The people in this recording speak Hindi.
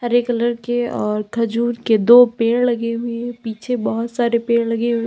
हरे कलर के और खजूर के दो पेड़ लगे हुए पीछे बहोत सारे पेड़ लगे हुए--